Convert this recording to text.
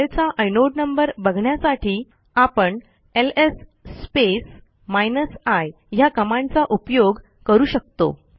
फाईलचा inode number बघण्यासाठी आपण एलएस स्पेस हायफेन आय ह्या कमांडचा उपयोग करू शकतो